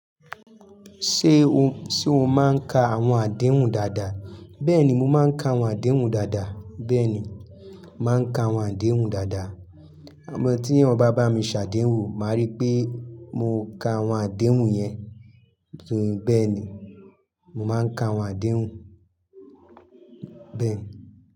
Ṣé o, ṣe o máa ń ka àwọn àdéhùn dáadáa? Bẹ́ẹ̀ni, mo máa ń ka àwọn àdéhùn dáadáa. Bẹ́ẹ̀ni, màá ń ka àwọn àdéhùn dáadáa. Àmọ́ tí eyan ba bá mi ṣàdéhùn, màá rí pé mo ka àwọn àdéhùn yẹn. Bẹ́ẹ̀ ni, mo máa ń ka àwọn àdéhùn. Bẹ́ẹ̀ ni.